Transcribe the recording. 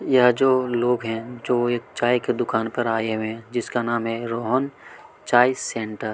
यह जो लोग है जो एक चाय के दुकान पर आए है जिसका नाम है रोहन चाय सेंटर --